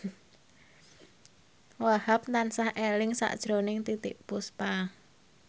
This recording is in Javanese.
Wahhab tansah eling sakjroning Titiek Puspa